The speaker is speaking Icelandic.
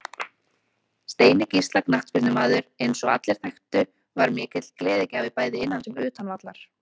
Steini Gísla knattspyrnumaður eins og allir þekktu var mikill gleðigjafi bæði innan sem utan vallar.